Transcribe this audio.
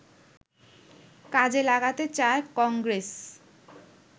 কাজে লাগাতে চায় কংগ্রেস